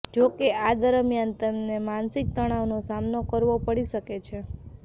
જો કે આ દરમિયાન તમને માનસિક તણાવનો સામનો કરવો પડી શકે છે